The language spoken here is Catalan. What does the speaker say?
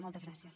moltes gràcies